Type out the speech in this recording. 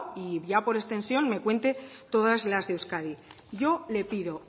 y ya por extensión me cuente todas las de euskadi yo le pido